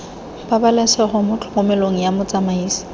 pabalesego mo tlhokomelong ya motsamaisi